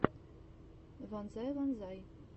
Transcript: вонзай вонзай